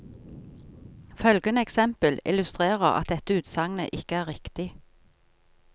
Følgende eksempel illustrerer at dette utsagnet ikke er riktig.